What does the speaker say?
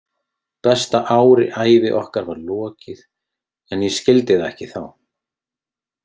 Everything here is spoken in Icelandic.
Besta ári ævi okkar var lokið en ég skildi það ekki þá.